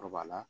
Kɔrɔbaya la